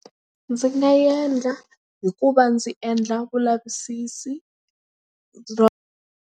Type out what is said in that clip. Ndzi nga endla hikuva ndzi endla vulavisisi .